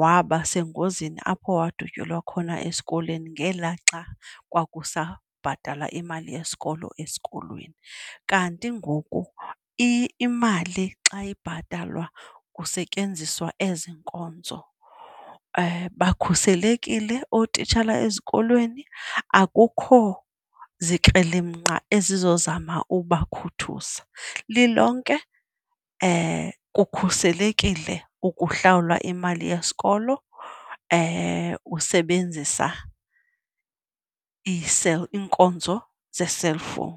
wabasengozini apho wadutyulwa khona esikolweni ngelaa xa kwakusabhatalwa imali yesikolo esikolweni. Kanti ngoku imali xa ibhatalwa kusetyenziswa ezi nkonzo, bakhuselekile ootitshala ezikolweni, akukho zikrelemnqa ezizowuzama ubakhuthuza. Lilonke kukhuselekile ukuhlawula imali yesikolo usebenzisa Ii-cell, iinkonzo ze-cellphone.